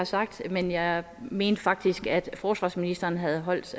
sagt men jeg mente faktisk at forsvarsministeren havde holdt